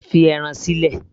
fi ẹran mi sílẹ̀